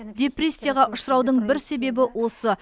депрессияға ұшыраудың бір себебі осы